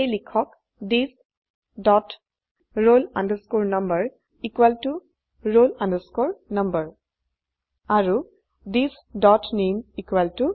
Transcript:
সেয়ে লিখক থিচ dot roll number roll number আৰু থিচ ডট নামে নামে